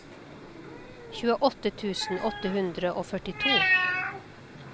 tjueåtte tusen åtte hundre og førtito